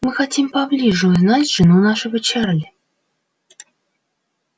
мы хотим поближе узнать жену нашего чарли